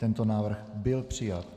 Tento návrh byl přijat.